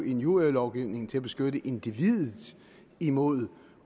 injurielovgivning til at beskytte individet imod